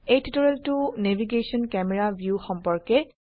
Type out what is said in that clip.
এই টিউটোৰিয়েলটো navigation camera view সম্পৰ্কে